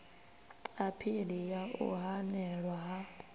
aphili ya u hanelwa ha